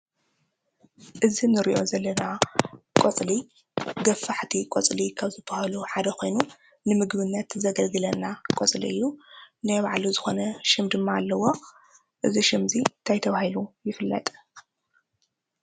እዚ እንሪኦ ዘለና ቆፅሊ ገፋሕቲ ቆፅሊ ካብ ዝበሃሉ ሓደ ኾይኑ ንምግብነት ዘገልግለና ቆፅሊ እዩ። ናይ ባዕሉ ዝኾነ ሽም ድማ ኣለዎ:: እዚ ሽም እዚ ታይ ተባሂሉ ይፍለጥ?